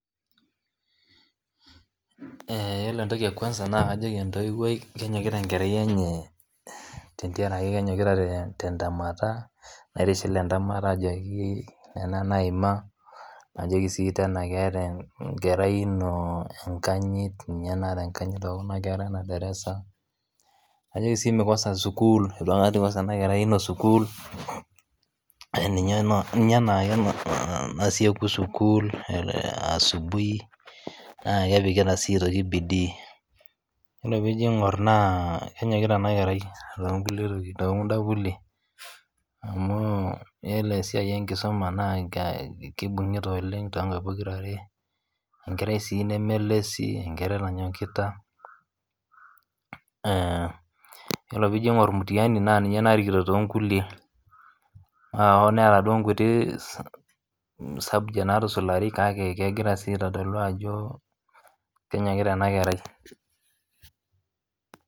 eeh yiolo entoki e kwanza kajoki entoiwoi kenyokita enkerai enye tentiaraki kenyokita te te ntemata, naitishil entemata ajoki nena naima, najoki sii tena keeta enkerai ino enkanyit, ninye naata enkanyit tokuna kera ena darasa, najoki sii mikosa sukuul, eitu aikata eikosa ena kerai ino sukuul ninye eno ninye enaake nasieku sukuul asubui naa kepikita sii aitoki bidii yiolo piijo aing'or naa kenyokita ena kerai to nkulie tokit, to kunda kulie, amuu yiolo esiai enkisuma naa kee kebung'ita oleng tonkaik pokirare. enkerai sii neme lazy enkerai nanyokita eeh yiolo piijo aing'or mutiani naa ninye narikito toonkulie, aa hoo neeta duo nkuti sa subjects naatusulari kake kegira sii aitodolu ajo kenyokita ena kerai.